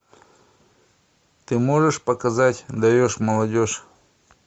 ты можешь показать даешь молодежь